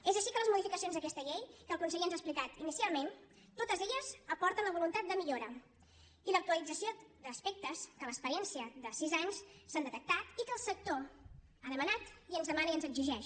és així que les modificacions d’aquesta llei que el conseller ens ha explicat inicialment totes elles aporten la voluntat de millora i l’actualització d’aspectes que amb l’experiència de sis anys s’han detectat i que el sector ha demanat i ens demana i ens exigeix